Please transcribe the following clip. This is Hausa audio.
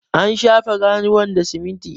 an shafe ganuwar da siminti